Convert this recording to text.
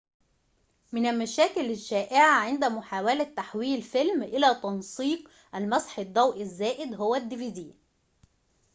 من المشاكل الشائعة عند محاولة تحويل فيلم إلى تنسيق dvd هو المسح الضوئي الزائد